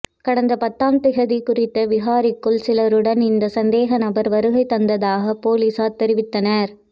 கடந்த பத்தாம் திகதி குறித்த விகாரைக்குள் சிலருடன் இந்த சந்தேகநபர் வருகை தந்ததாக பொலிஸார் தெரிவித்தனர்